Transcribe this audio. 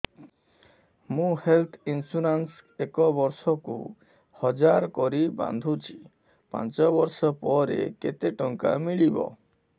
ମୁ health insurance ଏକ ବର୍ଷକୁ ହଜାର କରି ବାନ୍ଧୁଛି ପାଞ୍ଚ ବର୍ଷ ପରେ କେତେ ଟଙ୍କା ମିଳିବ